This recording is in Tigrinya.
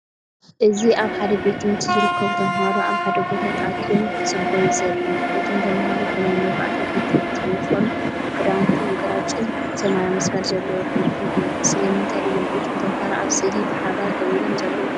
እዚ ኣብ ሓደ ቤት ትምህርቲ ዝርከቡ ተማሃሮ፡ኣብ ሓደ ቦታ ተኣኪቦም፡ክጽበዩ ዘርኢ እዩ። እቶም ተምሃሮ ብናይ መባእታ ቤት ትምህርቲ ዩኒፎርም፤ ክዳውንቶም ግራጭን ሰማያውን መስመር ዘለዎ ገልፎን እዩ። ስለምንታይ እዮም እቶም ተምሃሮ ኣብ ስእሊ ብሓባር ደው ኢሎም ዘለዉ?.